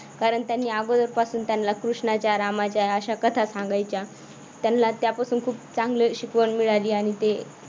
कारण त्यांनी अगोदर पासून त्यांना कृष्णाच्या रामाच्या अशा कथा सांगायच्या त्यांना त्यापासून खूप चांगली शिकवण मिळालेली आहे.